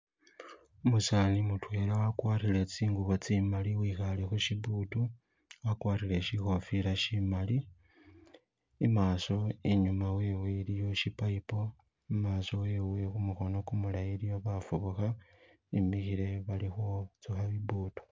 Umusani mutwela wagwarile tsingubo tsimali wikhale khushibuutu wagwarile shikhofila shimali imaaso inyuma wewe iliyo shi paipo imaaso wewe kumukhono gumulayi iliyo bafubukha bimilkile khuzukha bibutu.